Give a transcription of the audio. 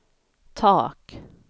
tak